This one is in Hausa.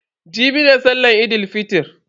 Jibi ne sallan Eid fitr.